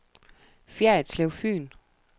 Ferritslev Fyn